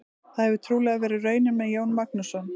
Það hefur trúlega verið raunin með Jón Magnússon.